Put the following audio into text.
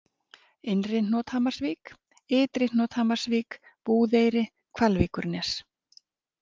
Innri-Hnothamarsvík, Ytri-Hnothamarsvík, Búðeyri, Hvalvíkurnes